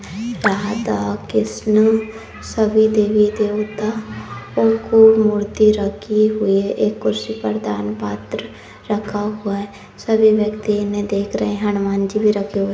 कहा था कृष्णा सभी देवी देवता और कोई मूर्ति रखी हुई है एक कुर्सी पर दान पात्र रखा हुआ है सभी व्यक्ति इन्हें देख रहे हैं हनुमान जी भी रखे हुए --